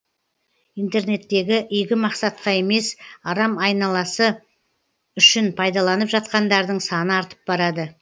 интернетті игі мақсатқа емес арам айласы үшін пайдаланып жатқандардың саны артып барады